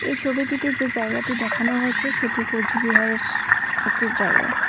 এই ছবিটিতে যে হয়েছে সেটি কোচবিহারেস একটি জায়গা।